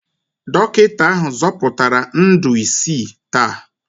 Dọkịta ahụ zọpụtara ndụ isii taa